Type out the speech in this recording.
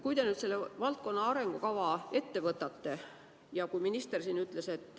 Minister siin ütles, et kümne aasta pärast on meil maal sidusad kogukonnad.